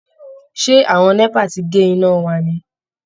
Ṣé àwọn NEPA ti gé iná wa ni?